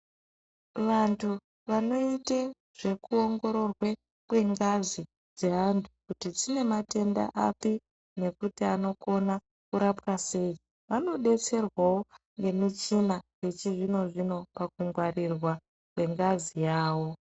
Vandu vanoita zvekuongororwa kwengazi dzevantu kuti dzine matenda api nekuti anokona kurapwe sei vanodetserwawo nemuchina wechizvino zvino kuti pakungwarirwa kwengazi yavo